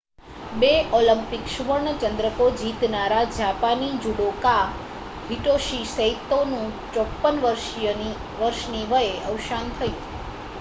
બે ઓલિમ્પિક સુવર્ણ ચંદ્રકો જીતનારા જાપાની જુડોકા હિટોશી સૈતોનું 54 વર્ષની વયે અવસાન થયું છે